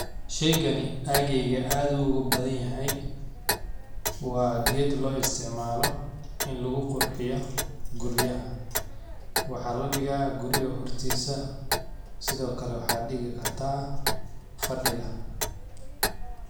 Sheygani aageyga aad u uga badhanyahay, wa ged loistacmalo in lugu qurxiyo guriyaha, waxa ladiga guriga hortisa sidhokale waxa digi karta fadiga.